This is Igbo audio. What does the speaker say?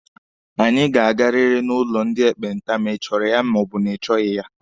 Anyị ga-agariri n'ụlọ ndị ekpenta ma ịchọrọ ya ma ọ bụ ị chọghị ya!